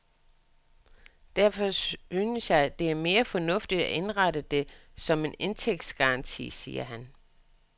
Derfor synes jeg, det er mere fornuftigt at indrette det som en indtægtsgaranti, siger han.